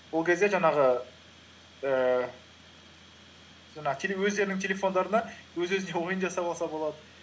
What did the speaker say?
ол кезде жаңағы ііі жаңағы өздерінің телефондарына өз өзіне ойын жасап алса болады